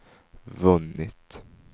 vunnit